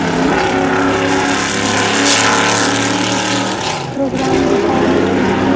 सामने स्टेज बना हुआ है और कुछ बच्चे और बच्चियां है जोकि प्रोग्राम कि दिखा रही है और डां--